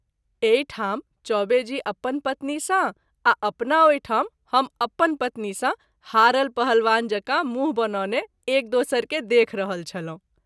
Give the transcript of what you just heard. एहि ठाम चौबे जी अपन पत्नी सँ आ अपना ओहि ठाम हम अपन पत्नी सँ हारल पहलवान जकाँ मुँह बनौने एक दोसर के देख रहल छलहुँ।